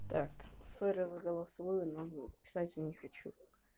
так извини за голосовое но писать я не хочу